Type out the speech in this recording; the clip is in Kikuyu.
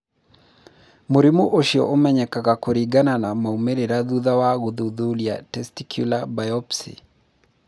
Mũrimũ ũcio ũmenyekaga kũringana na maũmĩrĩra thutha wa gũthuthuria testicular biopsy.